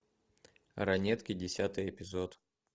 ранетки десятый эпизод